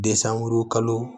Desanburu kalo